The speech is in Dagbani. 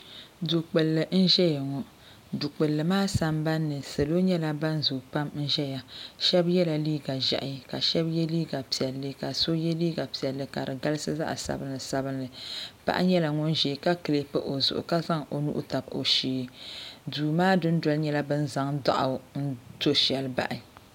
Du gbilli n ʒɛya ŋɔ duu maa sambani salo nyɛla ban zoo pam n zaya sheba yela liiga ʒehi ka sheba ye liiga piɛlli ka so ye liiga piɛlli ka di galisi zaɣa sabila sabila paɣa nyɛla ŋun zaya ka kilipi o zuɣu ka zaŋ o nuhi tabi o shee duu maa dundoli nyɛal bini zaŋ doɣu n to sheli bahi.